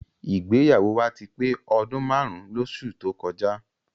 Ìgbéyàwó wa ti pé ọdún márùn-ún lóṣù tó kọjá.